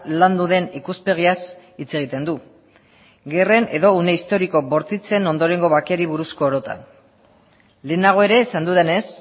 landu den ikuspegiaz hitz egiten du gerren edo une historiko bortitzen ondorengo bakeari buruzko orotan lehenago ere esan dudanez